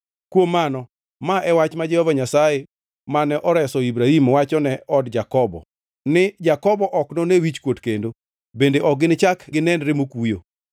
Kuom mano ma e wach ma Jehova Nyasaye, mane oreso Ibrahim wachone od Jakobo ni, Jakobo ok none wichkuot kendo; bende ok ginichak ginenre mokuyo.